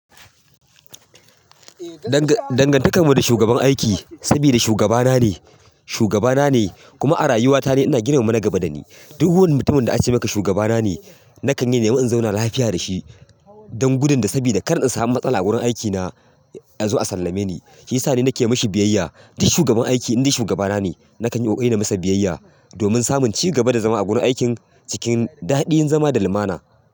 Dangantakar mu da shugaban aiki, sabida shugaba na ne, shugaba na ne kuma a rayuwa ta de ina girmama nagaba da ni. Duk wani mutumin da aka ce maka shugaba na ne, na kan yi nemi in zauna lafiya da shi don gudunda sabida kar in samu matsala a wurin aikina azo a sallame ni. Shiyasa ni nake mishi biyayya. Duk shugaban aiki in dai shugaba na ne, na kan yi ƙoƙari namasa biyayya domin samun cigaba da zama a gurin aikin cikin daɗi in zama da lumana.